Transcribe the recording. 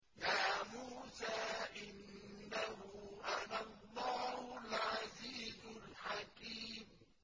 يَا مُوسَىٰ إِنَّهُ أَنَا اللَّهُ الْعَزِيزُ الْحَكِيمُ